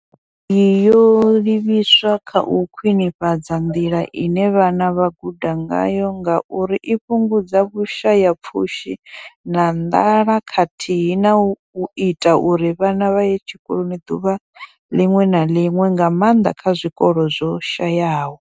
Iyi yo livhiswa kha u khwinifhadza nḓila ine vhana vha guda ngayo ngauri i fhungudza vhushayapfushi na nḓala khathihi na u ita uri vhana vha ye tshikoloni ḓuvha ḽiṅwe na ḽiṅwe, nga maanḓa kha zwikolo zwo shayaho.